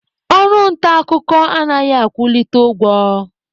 Ọrụ nta akụkọ anaghị akwụlite ụgwọ.